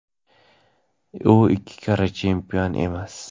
U ikki karra chempion emas.